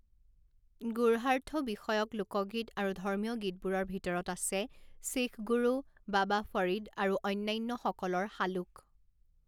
গূঢ়াৰ্থ বিষয়ক লোকগীত আৰু ধৰ্মীয় গীতবোৰৰ ভিতৰত আছে শিখ গুৰু, বাবা ফৰিদ আৰু অন্যান্যসকলৰ শালুক।